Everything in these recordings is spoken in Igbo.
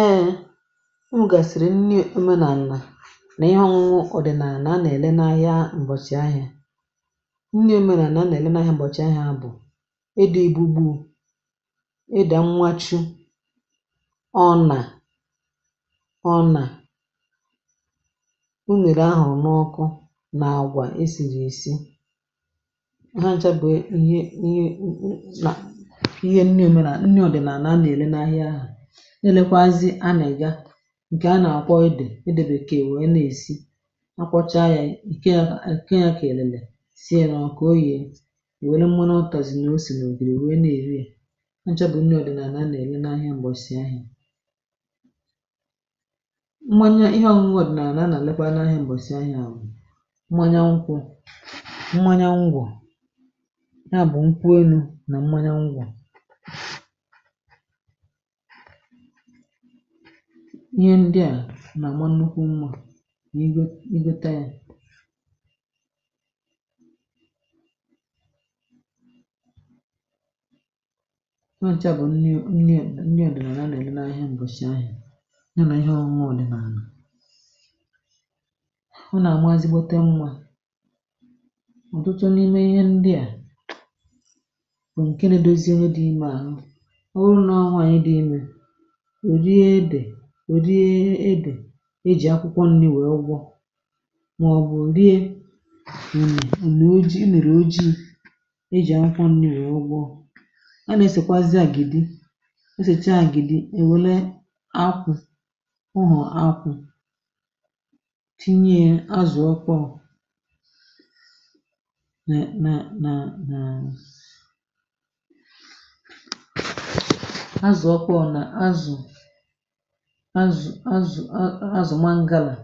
[eeem] Ụ́ mụ̀ gàsìrì nri òmenàlà nà íhè ọ̀hụhụ ọ̀dị̀nààlà a nà-èle n’ahịa m̀bọ̀chị ahịa nri òmenàlà a nà-èle n’ahịa m̀bọ̀chị ahịa bụ̀ édè ìgbugbu ụ̀, édè mmàchù, ọnà ọnà, unèrè ahụ̀ n’ọkụ, nà àgwà e sìrì èsi hachà bụ̀ íhè íhè ụ̀ ụ̀ nà ihe nri òmenàlà, nni ọ̀dị̀nààlà a nà-èle n’ahịa, na-elekwa azụ̀ àná yà. Ǹkè a nà-àkwọ édè édèbèké wèe na-èsi na-akwọcha ya ike a à. Ǹkè a kà èlele sìe ya nà òkù, ọ yéè, è wère mmà nụ̀, ụtàzì, ósì nà ògìrì wèe na-èri ya. Hà ncha bụ̀ nri ọ̀dị nà à nà-èle n'ahia m̀bọ̀sì ahịa Mmanya ihe ọ̀nụnụ̀ ọ̀dị̀nààlà, a nà-àlekwa n’ahịa m̀bọ̀sị̀ ahịà: mmanya nkwụ, mmanya ngwọ̀ ya bụ̀ nkwenu nà mmanya ngwọ̀. Ihe ndị a nà-àma nnukwu mmȧ nà ìgò ì gòte àyà. Hachà bụ̀ nni nni nni ọ̀dịnààlà a na-ère n’ahịa m̀bọ̀chị ahịa, ya nà ihe ọ̇ṅụṅụ ọ̀dị̀nààlà. Ọ nà-àmà ezigbote mma. Ọ̀tụtụ n’ime ihe ndị a bụ̀ ǹkè na-dozie ónyé dị̇ imè àhụ. Ọ̀ wúrù nọ nwáànyị dị̇ imè, ò rie édè, ò rie édè ejì akwụkwọ nni wèe gwọ̇, ma ọ̀bụ̀ rie ùní ùní ojii, ùnírí ojii i ejì akwụkwọ nni wèe gwọ̇. A nà-èsèkwazị àgìdi, o sèchàá àgìdi, èwùlé akwụ̇ ụ̀họ̀, akwụ tinye azụ̀ ọkpọ̀ nà…nà azụ̀ ọkpọ̀ nà azụ̀, azụ̀, azụ̀, azụ̀ mangala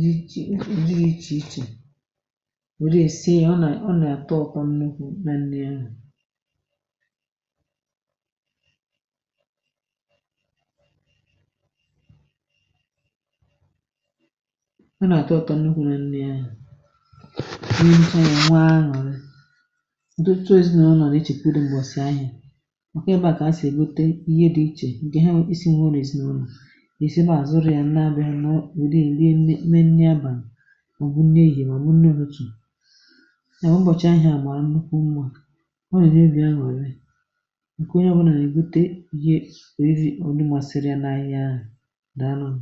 jị chi. Ọ dịrị iche iche, wèrè sìe; ọ nà-àta ụtọ̀ nnukwù nà nri ahụ̀. Ọ nà-àtò ụtọ̀ nnukwu nà nri ahụ̀. Ericha ya, enwe aṅụ̀rị́ dòtù ezinàụ̀nọ̀. Ná-echekwudo m̀gbọ̀sị ahịà, maka ébé ahụ̀ ka ha si ígote ihe dị iche ǹkè ha esì nwụhọ n’ezinàụ̀nọ̀. Èsèbà à zụrụ̀ ya nà be ha nọ, wéré rie n’ímé nni abalị, ma ọ bụ̀ nni ehì, ma ọ bụ̀ nni ụtụtụ̀. Ya bụ̀ ụbọ̀chị ahịa màrà nnukwu mma; ọ nà-ènyé óbì ànụ̀rí ǹkè onye ọbụlà, nà-èbute ihe òlùmàsịrịà n’ahịa ahụ̀. Dàalụ̀nū.